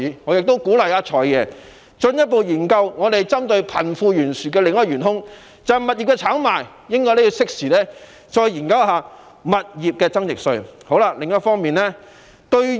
我亦鼓勵"財爺"進一步研究貧富懸殊的另一元兇物業炒賣，他也應該適時研究引入物業增值稅。